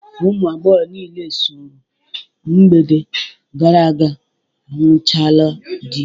Ụmụ agbọghọ niile so ru mgbede gara aga anụchaala di